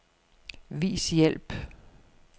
Vis hjælp.